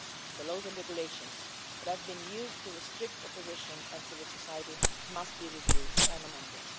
The laws and regulations that have been used to restrict opposition and civil society must be reviewed and amended.